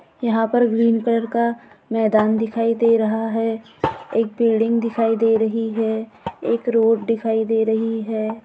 यहा पर green colour का मैदान दिखाई दे रहा है एक बिल्डिंग दिखाई दे रही है एक रोड दिखाई दे रही है।